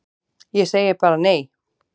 Ég segi bara nei!